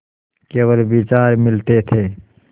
केवल विचार मिलते थे